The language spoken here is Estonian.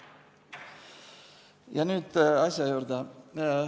Ja nüüd asja juurde.